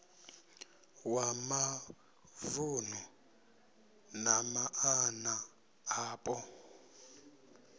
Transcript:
wa mavunu na maana apo